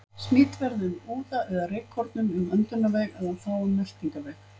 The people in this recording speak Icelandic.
Smit verður með úða eða rykkornum um öndunarveg eða þá um meltingarveg.